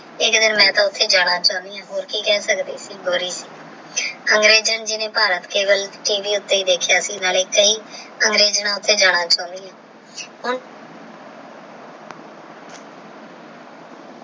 ਇੱਕ ਦਿਨ ਮੈਂ ਤੇ ਉੱਥੇ ਜਾਣਾ ਚਾਹੁੰਨੀ ਹਾਂ ਹੋਰ ਕੀ ਕਹਿ ਸਕਦੀ ਹੈ ਗੋਰੀ ਨੇ ਭਾਰਤ ਕੇਵਲ ਟੀ ਵੀ ਉੱਤੇ ਹੀ ਦੇਖਿਆ ਸੀ ਨਾਲੇ ਕਈ ਉੱਤੇ ਜਾਣਾ ਚਾਹੁੰਦੀ ਹਾਂ।